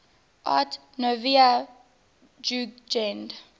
art nouveau jugend